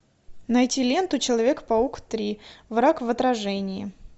найти ленту человек паук три враг в отражении